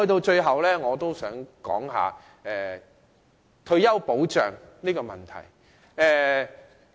最後，我想說一說退休保障的問題。